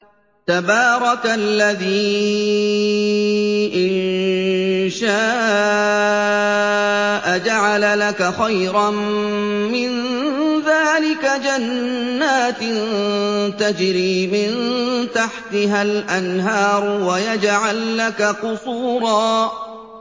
تَبَارَكَ الَّذِي إِن شَاءَ جَعَلَ لَكَ خَيْرًا مِّن ذَٰلِكَ جَنَّاتٍ تَجْرِي مِن تَحْتِهَا الْأَنْهَارُ وَيَجْعَل لَّكَ قُصُورًا